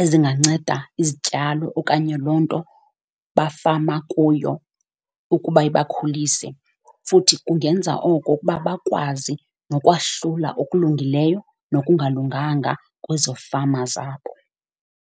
ezinganceda izityalo okanye loo nto bafama kuyo ukuba ibakhulise. Futhi kungenza oko ukuba bakwazi nokwahlula okulungileyo nokungalunganga kwezo fama zabo.